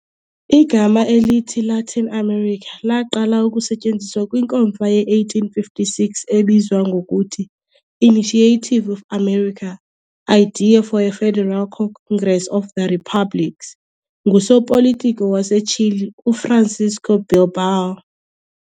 Igama elithi "Latin America" laqala ukusetyenziswa kwinkomfa ye-1856 ebizwa ngokuthi "Initiative of America- Idea for a Federal Congress of the Republics", ngusopolitiki waseChile uFrancisco Bilbao .